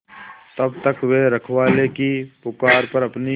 तब तक वे रखवाले की पुकार पर अपनी